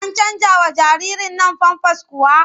An canjawa jaririrn nan famfas kuwa?